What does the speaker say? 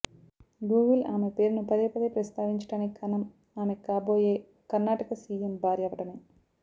Google ఆమె పేరును పదే పదే ప్రస్తావించటానికి కారణం ఆమె కాబోయే కర్ణాటక సీఎం భార్య అవటమే